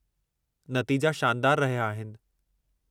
नतीजा शानदारु रहिया आहिनि।